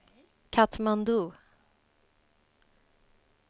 Katmandu